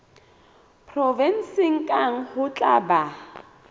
provenseng kang ho tla ba